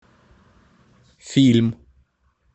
фильм